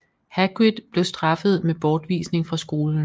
Hagrid blev straffet med bortvisning fra skolen